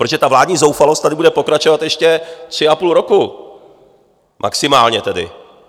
Protože ta vládní zoufalost tady bude pokračovat ještě tři a půl roku, maximálně tedy.